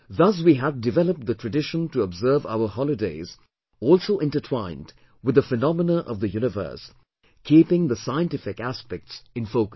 Thus we had developed the tradition to observe our holidays also intertwined with the phenomena of the Universe keeping the scientific aspects in focus